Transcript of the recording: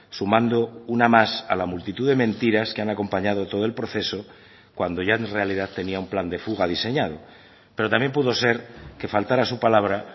sumando una más a la multitud de mentiras que han acompañado todo el proceso cuando ya en realidad tenía un plan de fuga diseñado pero también pudo ser que faltara a su palabra